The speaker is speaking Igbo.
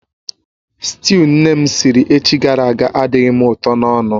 Sịtịụ nne m siri echi gara aga adịghị m ụtọ n'ọnụ